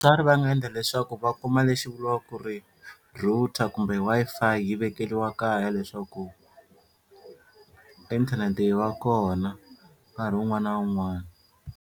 va nga endla leswaku va kuma lexi vuriwaka ku ri router kumbe Wi-Fi yi vekeriwa kaya leswaku inthanete yi va kona nkarhi wun'wani na wun'wani.